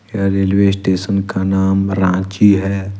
यह railway station का नाम रांची है।